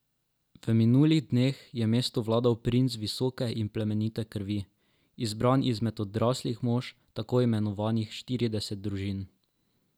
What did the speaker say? V minulih dneh je mestu vladal princ visoke in plemenite krvi, izbran izmed odraslih mož tako imenovanih štirideset družin.